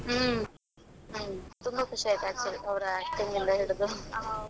ಹ್ಮ್ ಹ್ಮ್, ತುಂಬಾ ಖುಷಿಯಾಯ್ತು actually ಅವರ acting ಇಂದ ಹಿಡಿದು.